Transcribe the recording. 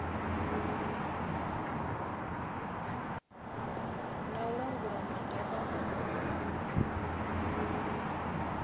na u langula maga a